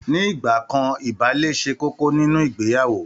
Ní ìgbà kan ìbálé ṣe kókó nínú ìgbeyàwó